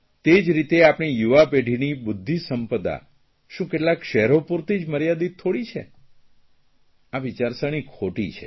તે જ રીતે આપણી યુવાપેઢીની બુદ્ધિસંપદા શું કેટલાંક શહેરો પૂરતી જ મર્યાદિત થોડી છે આ વિચારસરણી ખોટી છે